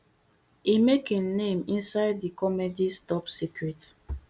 e make im name inside di comedies top secret